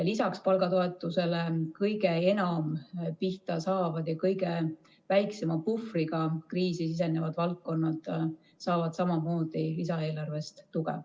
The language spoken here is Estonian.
Lisaks palgatoetusele saavad kõige enam pihta saavad ja kõige väiksema puhvriga kriisi sisenevad valdkonnad samamoodi lisaeelarvest tuge.